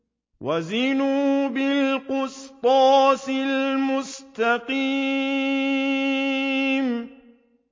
وَزِنُوا بِالْقِسْطَاسِ الْمُسْتَقِيمِ